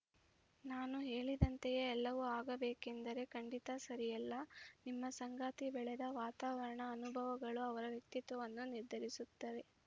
ನಾನು ಹೇಳಿದಂತೆಯೇ ಎಲ್ಲವೂ ಆಗಬೇಕೆಂದರೆ ಖಂಡಿತಾ ಸರಿಯಲ್ಲ ನಿಮ್ಮ ಸಂಗಾತಿ ಬೆಳೆದ ವಾತಾವರಣ ಅನುಭವಗಳು ಅವರ ವ್ಯಕ್ತಿತ್ವವನ್ನು ನಿರ್ಧರಿಸಿರುತ್ತವೆ